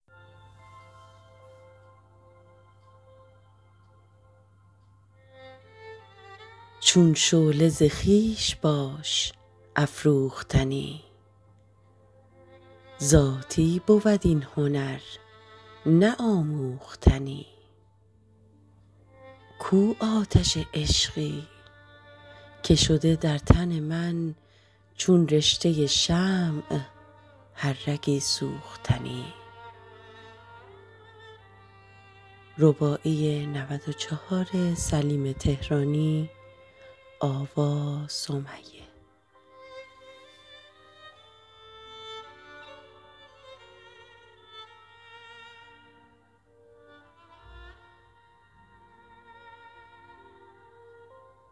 چون شعله ز خویش باش افروختنی ذاتی بود این هنر نه آموختنی کو آتش عشقی که شده در تن من چون رشته ی شمع هر رگی سوختنی